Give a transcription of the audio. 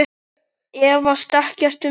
Ég efast ekkert um það.